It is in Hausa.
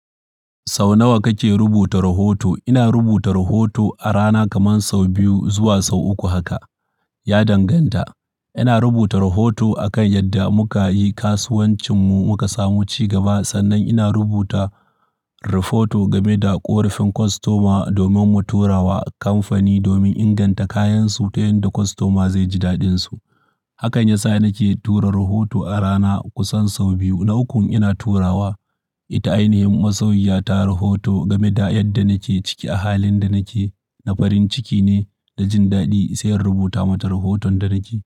Sau nawa kake rubuta rahoto? Ina rubuta rahoto a rana kaman sau biyu zuwa sau uku haka. Ya danganta. Ina rubuta rahoto akan yadda muka yi kasuwancinmu, muka samu cigaba sannan ina rubuta rafoto game da ƙorafin kostoma domin mu tura wa kamfani domin inganta kayansu ta yadda kostoma zai ji daɗinsu. Hakan ya sa nake tura rahoto a rana kusan sau biyu na ukkun ina turawa. Ita ainihin masoyiya ta rahoto game da yadda nake ciki a halin da nake. Na farin ciki ne da jin daɗi sai in rubuta mata rahoton da nake.